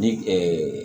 Ni